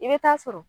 I bɛ taa sɔrɔ